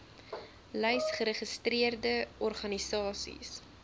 lys geregistreerde organisasies